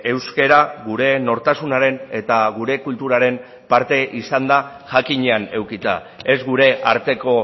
euskara gure nortasunaren eta gure kulturaren parte izanda jakinean edukita ez gure arteko